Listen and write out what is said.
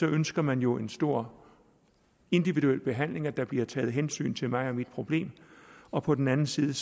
ønsker man jo en stor individuel behandling altså at der bliver taget hensyn til mig og mit problem og på den anden side